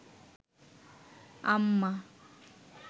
আম্মা